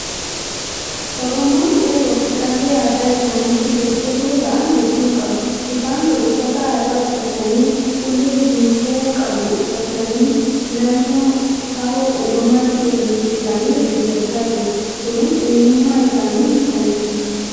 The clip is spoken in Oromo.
Oromoon qeerroo fi qarree aadaa isaaniitti jajjabboo ta'an hedduu qaba. Isaan kun uffata aadaa uffatanii, ulee jinfuu qabu uffatanii naannoo haroo uumamaatti irreecha isaanii irreeffachaa jiru. Kunis eenyummaa isaanii mirkaneessa.